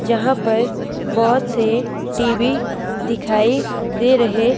जहां पर बहुत से टी_वी दिखाई दे रहे--